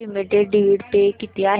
TT limited dividend pay किती आहे